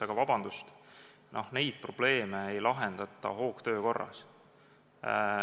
Aga vabandust, neid probleeme ei lahendata hoogtöö korras.